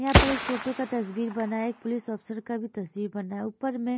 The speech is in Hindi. यहां पर एक टूटू का तस्वीर बना है एक पुलिस ऑफिसर का भी तस्वीर बना है ऊपर में --